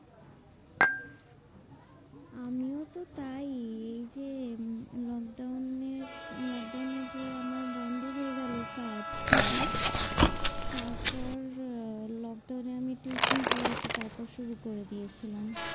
আমিওতো তাই। এই যে উম lockdown এর lockdown এ যে আমার বন্ধ হয়ে গেলো কাজ টা, হম হম তারপর আহ lockdown এ আমি tuition পড়াতে তারপর শুরু করে দিয়েছিলাম।